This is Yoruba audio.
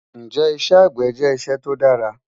Njẹ́ ìṣẹ́ agbẹ̀ jẹ́ ìṣẹ̀ tó dàrà?